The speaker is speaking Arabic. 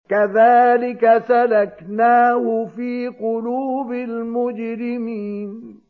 كَذَٰلِكَ سَلَكْنَاهُ فِي قُلُوبِ الْمُجْرِمِينَ